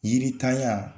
Yiritanya